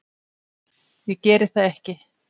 Ég geri það ekki.